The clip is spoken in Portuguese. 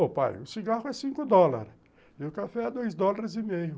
Ô pai, o cigarro é cinco dólares e o café é dois dólares e meio.